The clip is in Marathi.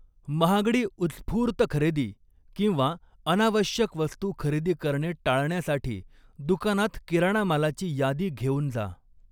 महागडी उत्स्फूर्त खरेदी किंवा अऩावश्यक वस्तू खरेदी करणे टाळण्यासाठी दुकानात किराणामालाची यादी घेऊन जा.